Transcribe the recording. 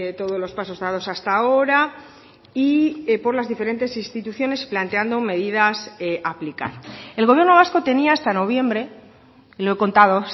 todos los pasos dados hasta ahora y por las diferentes instituciones planteando medidas a aplicar el gobierno vasco tenía hasta noviembre lo he contado